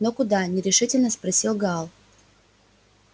но куда нерешительно спросил гаал